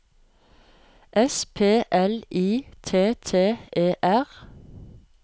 S P L I T T E R